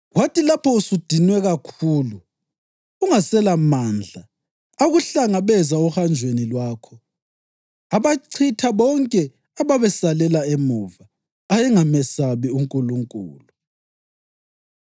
Kwathi lapho usudinwe kakhulu ungaselamandla, akuhlangabeza ohanjweni lwakho, abachitha bonke ababesalela emuva; ayengamesabi uNkulunkulu.